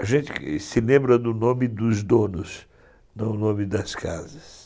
A gente se lembra do nome dos donos, não o nome das casas.